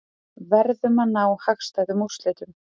Verðum að ná hagstæðum úrslitum